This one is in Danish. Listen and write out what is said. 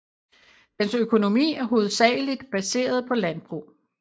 Dens økonomi er hovedsageligt baseret på landbrug